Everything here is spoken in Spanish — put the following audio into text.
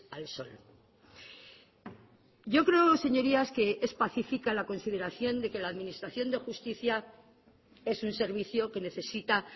al sol yo creo señorías que es pacífica la consideración de que la administración de justicia es un servicio que necesita